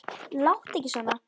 Láttu ekki svona